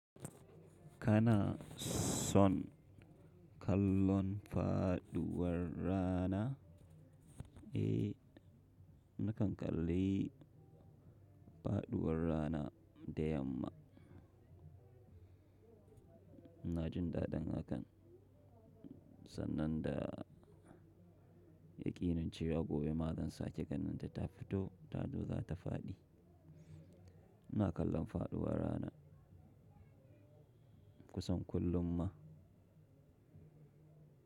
Kana son kallon faɗuwar rana? Eh, nakan kalli faɗuwar rana da yamma. Na jin daɗin hakan, sannan da ya ƙinincewa gobe, ma zansa keganinta ta fito, ta zo za ta faɗi. Ina kallon faɗuwar rana kusan kullum ma.